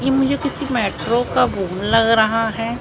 ये मुझे किसी मेट्रो का घूम लग रहा है।